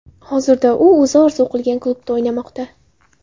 Hozirda u o‘zi orzu qilgan klubda o‘ynamoqda.